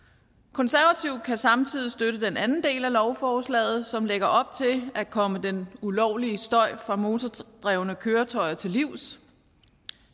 konservative kan samtidig støtte den anden del af lovforslaget som lægger op til at komme den ulovlige støj fra motordrevne køretøjer til livs